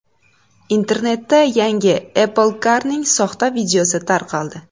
Internetda yangi Apple Car’ning soxta videosi tarqaldi.